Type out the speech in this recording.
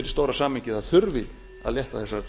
stóra samhengið að það þurfi að leiðrétta þessar